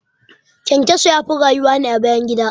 ƘyanƘyaso yafi rayuwa ne a bayan gida